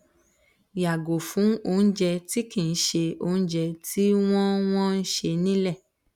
yago fun ounje ti kinse ounje ti won won se nile